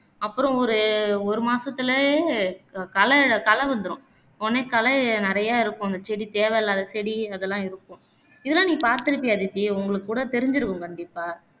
அப்பறம் ஒரு ஒரு மாசத்துலையே களகளை வந்துரும் களை நிறையா இருக்கும் அந்த செடி தேவையில்லாத செடி அதெல்லம் இருக்கும் இதெல்லாம் நீ பாத்திருப்பியே அதித்தி உங்களுக்கு கூட தெரிஞ்சிருக்கும் கண்டிப்பா